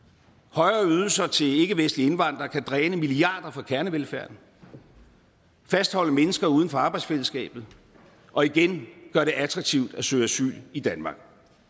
højere ydelser til ikkevestlige indvandrere kan dræne milliarder fra kernevelfærden fastholde mennesker uden for arbejdsfællesskabet og igen gøre det attraktivt at søge asyl i danmark